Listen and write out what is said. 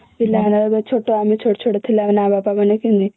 ପିଲାବେଳେ ଛୋଟ ଆମେ ଛୋଟ ଛୋଟ ଥିଲା ବେଳେ ଆମ ବାପା ମାନେ କେମିତି